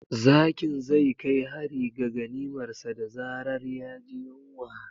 Zakin zai kai hari ga ganimarsa da zarar ya ji yunwa.